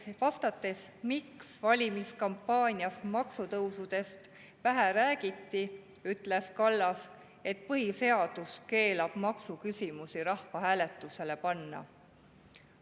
Vastates, miks valimiskampaanias maksutõusudest vähe räägiti, ütles Kallas, et põhiseadus keelab maksuküsimusi rahvahääletusele panna.